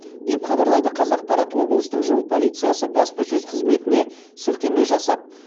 деп хабарлайды қазақпарат облыстық жол полициясы баспасөз қызметіне сілтеме жасап